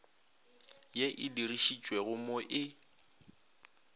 ye e dirišitšwego mo e